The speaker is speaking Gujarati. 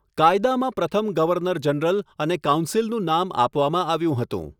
કાયદામાં પ્રથમ ગવર્નર જનરલ અને કાઉન્સિલનું નામ આપવામાં આવ્યું હતું.